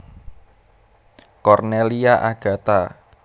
Cornelia Agatha